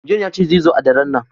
John ya ce zai zo a ɗaren nan.